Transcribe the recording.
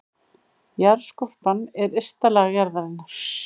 Jarðskorpan er ysta lag jarðarinnar.